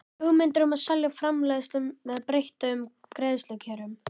hugmyndir um að selja framleiðslu með breyttum greiðslukjörum.